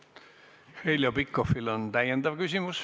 Heljo Pikhofil on täiendav küsimus.